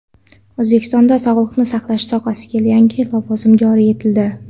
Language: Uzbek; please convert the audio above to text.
O‘zbekistonda sog‘liqni saqlash sohasida yangi lavozim joriy etildi.